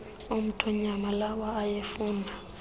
omthonyama lawa ayefuna